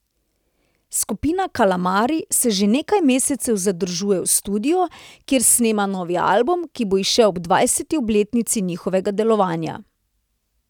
Skupina Kalamari se že nekaj mesecev zadržuje v studiu, kjer snema novi album, ki bo izšel ob dvajseti obletnici njihovega delovanja.